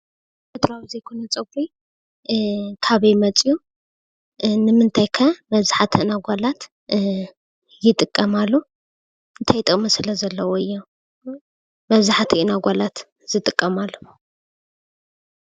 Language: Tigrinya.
ተፈጥራኣዊ ዘይኮነ ፀጉሪ ካበይ መፅኡ? ንምታይ ከ መብዛሕትአን ኣጓላት ይጥቀማሉ? እንታይ ጥቅሚ ስለ ዘለዎ እዩ መብዛሕትአን ኣጋላት ዝጥቅማሉ?